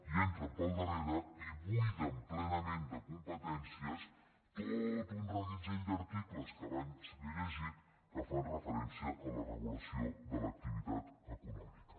i entren pel darrere i buiden plenament de competències tot un reguitzell d’articles que abans li he llegit que fan referència a la regulació de l’activitat econòmica